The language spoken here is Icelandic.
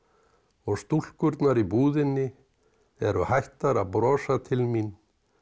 og stúlkurnar í búðinni eru hættar að brosa til mín